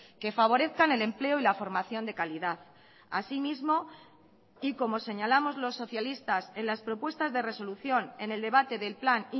que favorezcan el empleo y la formación de calidad asimismo y como señalamos los socialistas en las propuestas de resolución en el debate del plan